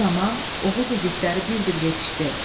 Bu zaman Oğuz igidləri bir-bir yetişdi.